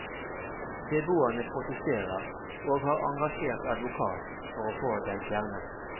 Beboerne protesterer, og har engasjert advokat for å få den fjernet.